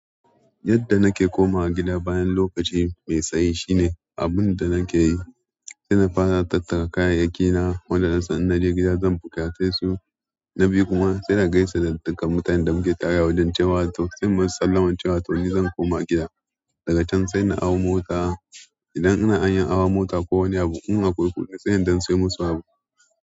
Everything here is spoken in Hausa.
Yadda nake komawa gida bayan lokaci mai tsayi shine, abun da nake yi, sai na fara tattara kayayyaki na waɗanda nasan in na je gida zan buƙaci su. Na biyu kuma, sai na gaishe da dukkan mutanen da muke tare wajen cewa to sai mun sallami cewa to ni zan koma gida. Daga can sai na hau mota, idan wajen hawa mota sai na ɗan sai musu wani abu.